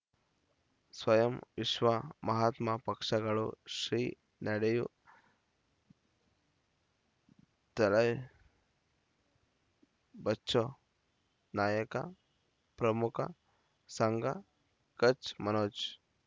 ಸ್ವಯಂ ವಿಶ್ವ ಮಹಾತ್ಮ ಪಕ್ಷಗಳು ಶ್ರೀ ನಡೆಯೂ ದಲೈ ಬಚೌ ನಾಯಕ ಪ್ರಮುಖ ಸಂಘ ಕಚ್ ಮನೋಜ್